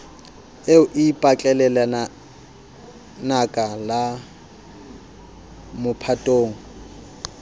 eo e ipatlelalenaka la mophatong